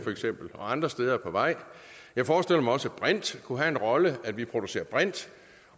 og andre steder er på vej jeg forestiller mig også at brint kunne have en rolle vi producerer brint